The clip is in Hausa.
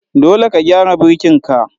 Dole ka gyara birkin ka.